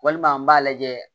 Walima an b'a lajɛ